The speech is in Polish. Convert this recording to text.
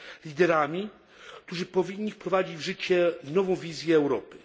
liderami, którzy powinni wprowadzić w życie nową wizję Europy.